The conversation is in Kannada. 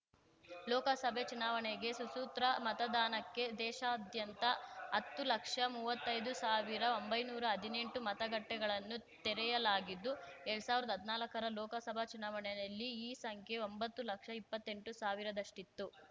ಲೋಕಸಭೆ ಚುನಾವಣೆಗೆ ಸುಸೂತ್ರ ಮತದಾನಕ್ಕೆ ದೇಶಾದ್ಯಂತ ಹತ್ತು ಲಕ್ಷ ಮುವತ್ತೈದು ಸಾವಿರ ಒಂಬೈನೂರಾ ನದಿನೆಂಟು ಮತಗಟ್ಟೆಗಳನ್ನು ತೆರೆಯಲಾಗಿದ್ದು ಎರಡ್ ಸಾವಿರ್ದಾ ಹದ್ನಾಲ್ಕರ ಲೋಕಸಭಾ ಚುನಾವಣೆಯಲ್ಲಿ ಈ ಸಂಖ್ಯೆ ಒಂಬತ್ತು ಲಕ್ಷ ಇಪ್ಪತ್ತೆಂಟು ಸಾವಿರದಷ್ಟಿತ್ತು